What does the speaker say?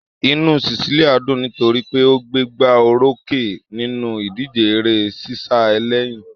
Inú Cecilia dùn nítorí pé ó gbégbá orókè nínú ìdíje eré-sísá ẹlẹ́yin.